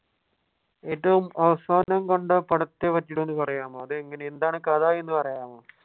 ഏറ്റവും അവസാനം കണ്ട പടത്തെ പറ്റിയിട്ട് ഒന്ന് പറയാമോ? അത് എന്താണ് കഥ എന്ന് പറയാമോ?